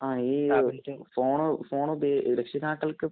ഈ ഫോണു ഫോണുപയോ രക്ഷിതാക്കള്‍ക്ക് ഈ